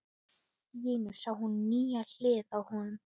Allt í einu sá hún nýja hlið á honum.